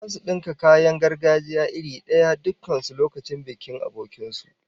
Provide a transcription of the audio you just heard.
Zasu dinka kayan gargajiya iri daya dukkan su lokacin bikin abokin su